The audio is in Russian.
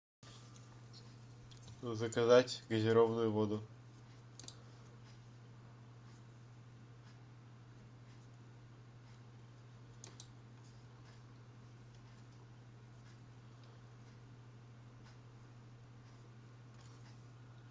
заказать газированную воду